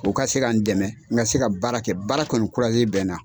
U ka se ka n dɛmɛ n ka se ka baara kɛ baara kɔni bɛ n na.